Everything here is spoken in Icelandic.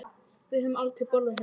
Við höfum aldrei borðað hérna.